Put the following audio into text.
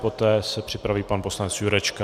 Poté se připraví pan poslanec Jurečka.